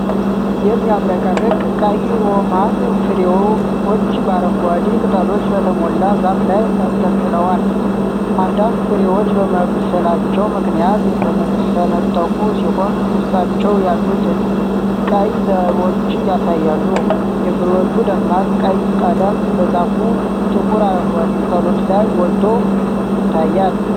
የሚያብረቀርቅ ቀይ ሮማን ፍሬዎች በአረንጓዴ ቅጠሎች በተሞላ ዛፍ ላይ ተንጠልጥለዋል። አንዳንድ ፍሬዎች በመብሰላቸው ምክንያት የተሰነጠቁ ሲሆን፣ ውስጣቸው ያሉትን ቀይ ዘሮች ያሳያሉ። የፍሬዎቹ ደማቅ ቀይ ቀለም በዛፉ ጥቁር አረንጓዴ ቅጠሎች ላይ ጎልቶ ይታያል።